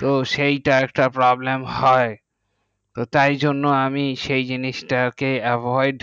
হ্যাঁ সেথা একটি problem হয় তাই জন্য আমি সেই জিনিস তাকে avoid